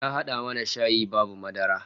Ta hada mana shayi babu madara